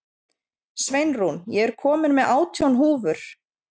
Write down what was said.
Sveinrún, ég kom með átján húfur!